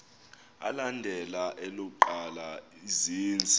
alandela elokuqala izenzi